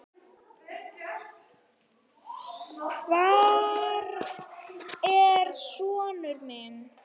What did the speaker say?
Hvar er sonur minn?